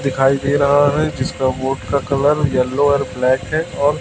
दिखाई दे रहा है जिसका बोर्ड का कलर येलो और ब्लैक है और--